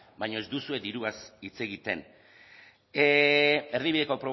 baina ez duzue diruaz hitz egiten erdibideko